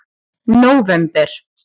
nóvember